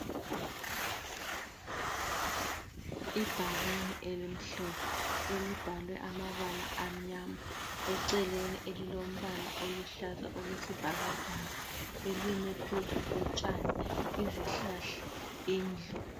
Ibhakane elimhlophe elibhalwe amabala amnyama eceleni elilombala oluhlaza okwesibhakabhaka elime phezu kotshani. Izihlahla, indlu.